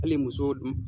Hali muso dun